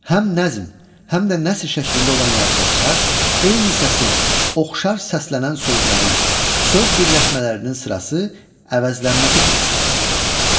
Həm nəzm, həm də nəsr şəklində olan yalıtmacılar eyni səsin, oxşar səslənən sözlərin, söz birləşmələrinin sırası, əvəzlənməsi prinsipinə əsaslanır.